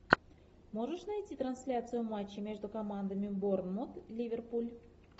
можешь найти трансляцию матча между командами борнмут ливерпуль